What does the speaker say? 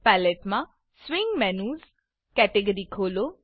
palette palette માં swing menus swing menus category ખોલો